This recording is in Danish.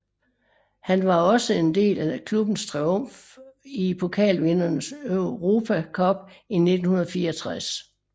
Han var også en del af klubbens triumf i Pokalvindernes Europa Cup i 1964